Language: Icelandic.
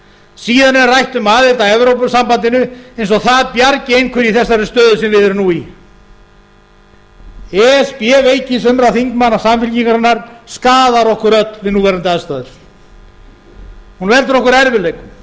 síðan er rætt um aðild að evrópusambandinu eins og það bjargi einhverju í þessari stöðu sem við erum nú í e s b veiki sumra þingmanna samfylkingarinnar skaðar okkur öll við núverandi aðstæður hún veldur okkur erfiðleikum